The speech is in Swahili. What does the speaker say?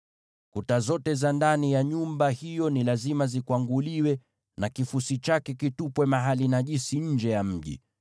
Kuta zote za ndani ya nyumba hiyo ni lazima zikwanguliwe, na kifusi chake kitupwe mahali najisi nje ya mji.